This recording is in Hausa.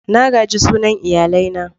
Na gaji sunan iyalai na.